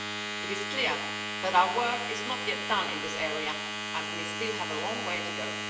It is clear that our work is not yet done in this area, and we still have a long way to go.